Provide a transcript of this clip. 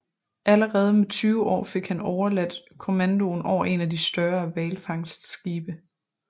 Allerede med 20 år fik han overladt kommandoen over en af de større hvalfangstskibe